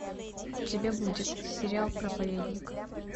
у тебя будет сериал проповедник